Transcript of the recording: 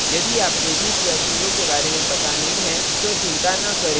यदि आपको root या sudo के बारे में पता नहीं है तो चिंता न करें